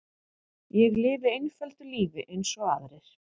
Ég lifi einföldu lífi eins og aðrir.